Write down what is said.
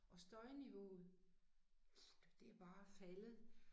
Og støjniveauet det bare faldet